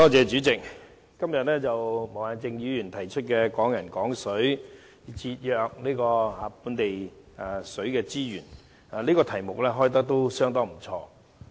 主席，毛孟靜議員今天提出的"推動'港人港水'，守護本地資源"這議題相當不錯。